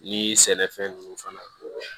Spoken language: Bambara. Ni sɛnɛfɛn nunnu fana